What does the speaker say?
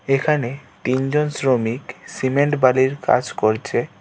এখানে তিনজন শ্রমিক সিমেন্ট বালির কাজ করছে।